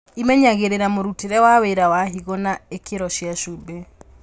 Ĩmenyagĩrĩra mũrutĩre wa wĩra wa higo na ikĩro cia cumbĩ